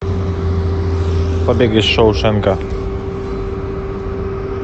побег из шоушенка